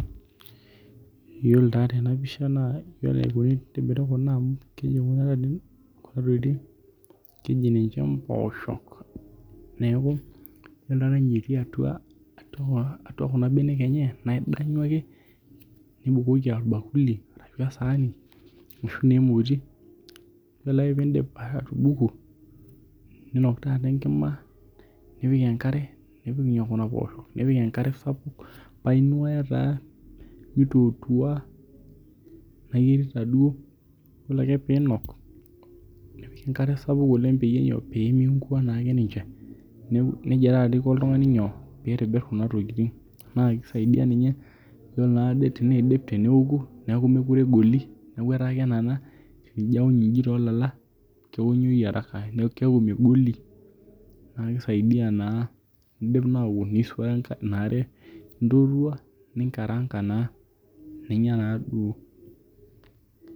Iyiolo taa tena pisha naa ore enaikoni tenitobiri kuna amau keji kuna tokitin keji ninche mposhok neeku eton ninye etii atua atau kuna benek enye naa idanyu ake nibukoki orbakuli ashu esani ashu naa emoti. Ore ake pee idip atubuku ninok taata enkima nipik enkare nipik inyoo kuna poosho. Nipik enkare sapuk paaa inuaya taa mitootua naiterita duo ore ake pinok nipik enkare sapuk oleng' pee miinkua ake ninche neija taa iko oltung'ani nyoo pee itobir kuna tokitin naa kisiaidia ninye iyiolo naa ade teneidip neeku mekure egolu neeku etaa kenana tenijo aony iji toolala keonyoi haraka neeku keku megoli. Naa kisaidia naa nigil naapuo nisuaya ina are nintotua ninkaranka naa ninya naaduo.